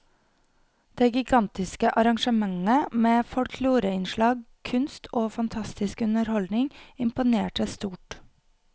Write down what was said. Det gigantiske arrangementet med folkloreinnslag, kunst og fantastisk underholdning imponerte stort.